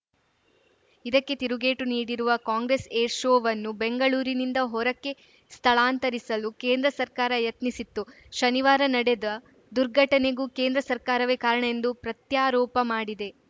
ಇದಕ್ಕೆ ತಿರುಗೇಟು ನೀಡಿರುವ ಕಾಂಗ್ರೆಸ್‌ ಏರ್‌ ಶೋವನ್ನು ಬೆಂಗಳೂರಿಂದ ಹೊರಕ್ಕೆ ಸ್ಥಳಾಂತರಿಸಲು ಕೇಂದ್ರ ಸರ್ಕಾರ ಯತ್ನಿಸಿತ್ತು ಶನಿವಾರ ನಡೆದ ದುರ್ಘಟನೆಗೂ ಕೇಂದ್ರ ಸರ್ಕಾರವೇ ಕಾರಣ ಎಂದು ಪ್ರತ್ಯಾರೋಪ ಮಾಡಿದೆ